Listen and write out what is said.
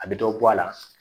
A bɛ dɔ bɔ a la